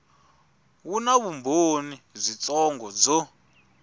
wu na vumbhoni byitsongo byo